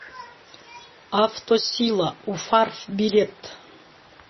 автосила уфарф билет